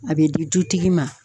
A bɛ di dutigi ma.